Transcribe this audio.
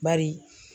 Bari